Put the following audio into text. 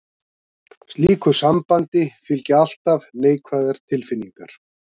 Slíku sambandi fylgja alltaf neikvæðar tilfinningar.